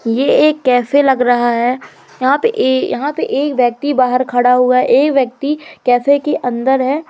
ये एक कैफे लग रहा है यहां पे ये यहां पे एक व्यक्ति बाहर खड़ा हुआ है ये व्यक्ति कैफे के अंदर है।